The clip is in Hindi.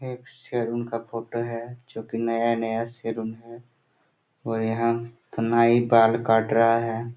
एक सलून का फोटो है जो की नया -नया सैलून है और यहाँ नाइ बाल काट रहा है।